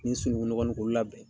Ni sununkunnɔgɔ nun k'olu labɛn.